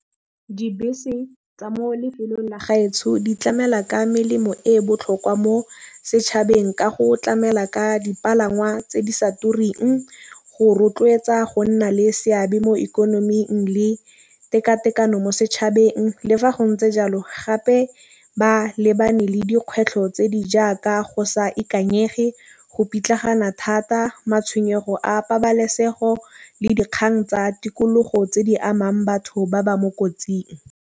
Dibese tsa mo lefelong la di tlamela ka melemo e botlhokwa mo setšhabeng ka go tlamela ka dipalangwa tse di sa tureng. Go rotloetsa go nna le seabe mo ikonoming le teka tekano mo setšhabeng. Le fa go ntse jalo gape ba lebane le dikgwetlho tse di jaaka go sa ikanyege go pitlagana thata matšhwenyego a pabalesego le dikgang tsa tikologo tse di amang batho ba ba mo kotsing.